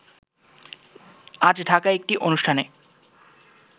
আজ ঢাকায় এক অনুষ্ঠানে